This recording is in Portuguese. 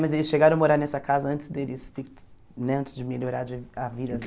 Mas eles chegaram a morar nessa casa antes deles né antes de melhorar de a vida